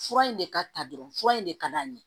Fura in de ka ta dɔrɔn fura in de ka d'a ye